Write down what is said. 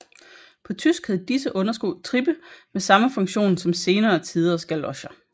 På tysk hed disse undersko Trippe med samme funktion som senere tiders galocher